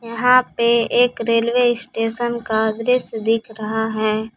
यहां पे एक रेलवे स्टेशन का दृश्य दिख रहा है।